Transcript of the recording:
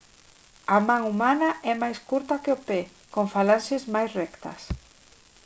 a man humana é máis curta que o pé con falanxes máis rectas